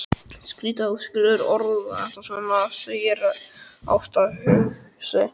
Skrýtið að þú skulir orða þetta svona, segir Ásta hugsi.